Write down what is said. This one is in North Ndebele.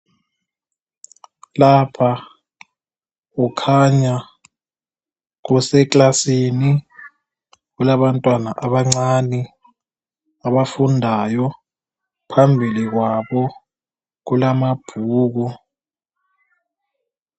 Lapha kukhanya kuseKlasini kulabantwana abancane abafundayo phambili kwabo kulamabhuku.